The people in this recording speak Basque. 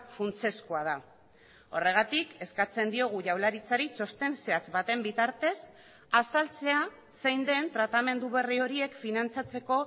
funtsezkoa da horregatik eskatzen diogu jaurlaritzari txosten zehatz baten bitartez azaltzea zein den tratamendu berri horiek finantzatzeko